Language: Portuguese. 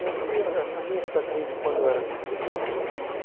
Eu acho que a minha cidadezinha de quando eu era pequeno.